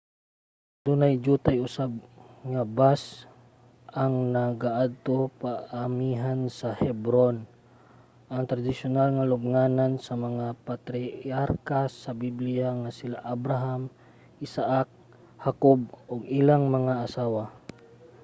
adunay diyutay usab nga bus ang nagaadto paamihan sa hebron ang tradisyonal nga lubnganan sa mga patriarka sa bibliya nga sila abraham isaak hakob ug ilang mga asawa